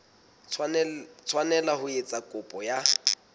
tshwanela ho etsa kopo ya